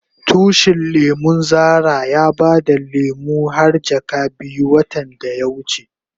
Tushin lemun Zara ya bada lemu har jaka biyu watan da ya wuce.